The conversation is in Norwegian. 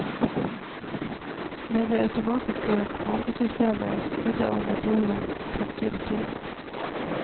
Men det automatiske kommandosystemet skrudde av motoren på trinn to.